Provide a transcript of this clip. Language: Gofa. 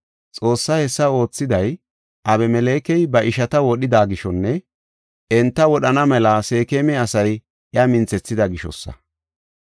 Xoossay hessa oothiday, Abimelekey ba ishata wodhida gishonne enta wodhana mela Seekema asay iya minthethida gishosa.